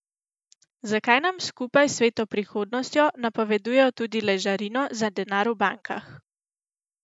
Zakaj nam skupaj s svetlo prihodnostjo napovedujejo tudi ležarino za denar v bankah?